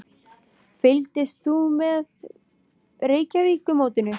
Fylgist þú með Reykjavíkurmótinu?